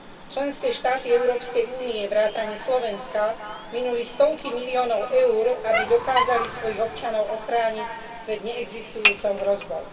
Členské štáty Európskej únie vrátane Slovenska minuli stovky miliónov EUR, aby dokázali svojich občanov ochrániť pred neexistujúcou hrozbou.